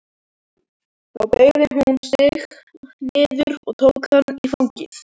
Þá beygði hún sig niður og tók hann í fangið.